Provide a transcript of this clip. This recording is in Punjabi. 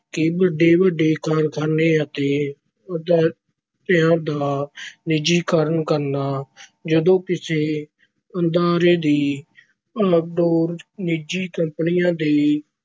ਕਿ ਵੱਡੇ-ਵੱਡੇ ਕਾਰਖ਼ਾਨੇ ਅਤੇ ਅਦਾਰਿਆਂ ਦਾ ਨਿੱਜੀਕਰਨ ਕਰਨਾ। ਜਦੋਂ ਕਿਸੇ ਅਦਾਰੇ ਦੀ ਵਾਗਡੋਰ ਨਿੱਜੀ ਕੰਪਨੀਆਂ ਦੇ